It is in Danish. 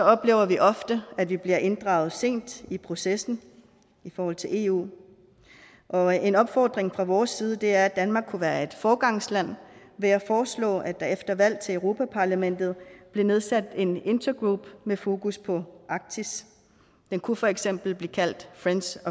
oplever vi ofte at vi bliver inddraget sent i processen i forhold til eu og en opfordring fra vores side er at danmark kunne være et foregangsland ved at foreslå at der efter valg til europa parlamentet bliver nedsat en intergroup med fokus på arktis den kunne for eksempel blive kaldt friends